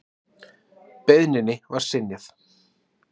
Beiðninni var synjað.